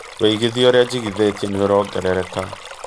wĩigithia ũrĩa njĩngĩthetĩe nĩ ũrongerereka